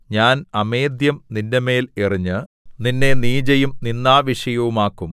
ഞാൻ അമേദ്ധ്യം നിന്റെമേൽ എറിഞ്ഞ് നിന്നെ നീചയും നിന്ദാവിഷയവുമാക്കും